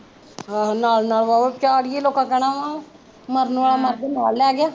ਆਹੋ ਨਾਲ਼ ਨਾਲ਼ ਵਾ ਨਾਲ਼ ਹੀਂ ਲੋਕਾਂ ਨੇ ਕਹਿਣਾ ਵਾ, ਮਰਨ ਵਾਲਾ ਮਗ ਨਾਲ਼ ਲੈ ਗਿਆ